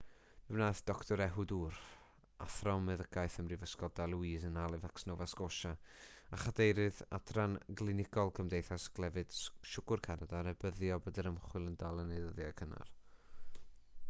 fe wnaeth dr ehud ur athro meddygaeth ym mhrifysgol dalhousie yn halifax nova scotia a chadeirydd adran glinigol cymdeithas clefyd siwgr canada rybuddio bod yr ymchwil yn dal yn ei ddyddiau cynnar